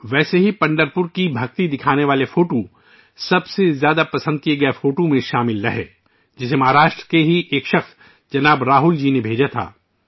اسی طرح سب سے زیادہ پسند کی جانے والی تصویر میں پنڈھارپور کی عقیدت کو ظاہر کرنے والی ایک تصویر بھی شامل تھی، جسے مہاراشٹر کے جناب رال جی نے بھیجا تھا